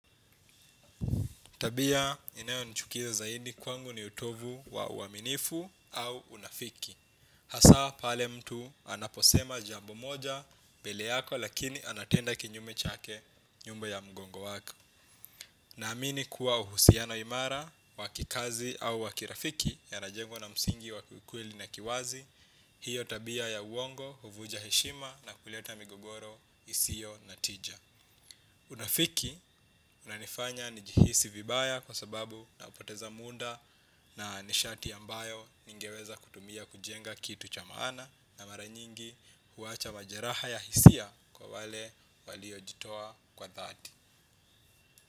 Tabia inayonichukiza zaidi kwangu ni utovu wa uaminifu au unafiki. Hasa pale mtu anaposema jambo moja mbele yako lakini anatenda kinyume chake nyuma ya mgongo wako. Naamini kuwa uhusiano imara wa kikazi au wa kirafiki yanajengwa na msingi wa ukweli na kiwazi, hiyo tabia ya uongo huvunja heshima na kuleta migogoro isiyo na tija. Unafiki unanifanya nijihisi vibaya kwa sababu unapoteza muda na nishati ambayo ningeweza kutumia kujenga kitu cha maana na mara nyingi huacha majeraha ya hisia kwa wale waliojitoa kwa dhati.